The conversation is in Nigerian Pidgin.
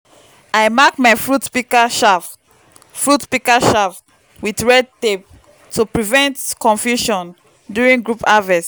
i mark my fruit pika shaft fruit pika shaft with red tape to prevent confusion duirng group harvest